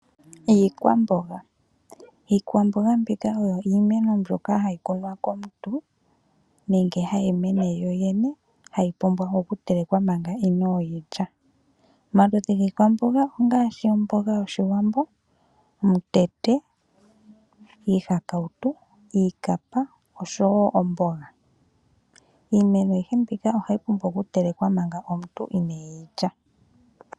Iikwamboga oyo iimeno mbyoka hayi kunwa komuntu nenge hayi mene yoyene . Ohayi pumbwa okutelekwa manga inooyi lya. Omaludhi giikwamboga ongaashi omboga yOshiwambo , omutete, iihakautu , iikapa oshowoo omboga .